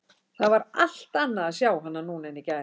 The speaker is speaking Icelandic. Það var allt annað að sjá hana núna en í gær.